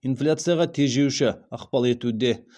инфляцияға тежеуші ықпал етуде